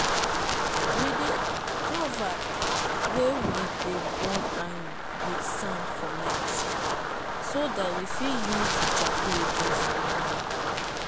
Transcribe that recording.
we dey cover wey we de burn iron with sand for night so dat we fit use d charcoal again for morning.